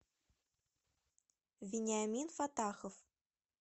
вениамин фатахов